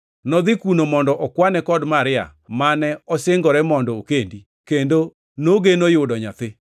Nodhi kuno mondo okwane kod Maria, mane osingore mondo okendi, kendo nogeno yudo nyathi.